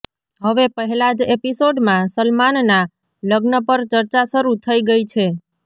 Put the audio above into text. હવે પહેલા જ એપિસોડમાં સલમાનના લગ્ન પર ચર્ચા શરૂ થઈ ગઈ છે